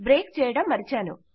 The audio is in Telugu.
బ్రేక్ చేయడం మరచాను